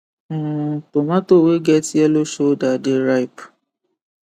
um tomato wey get yellow shoulder dey ripe